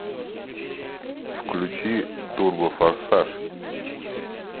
включи турбофорсаж